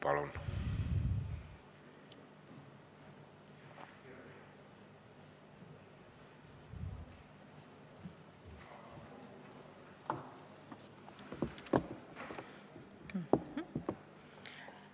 Palun!